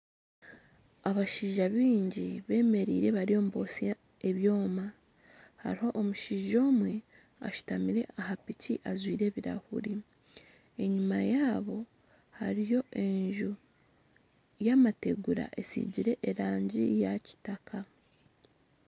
Abashaija bingi bemereire bariyo nibotsya ebyoma hariho omushaija omwe ashutamire aha piiki ajwaire ebirahuuri enyima yaabo hariyo enju yamategura etsigire erangi ya kitaka.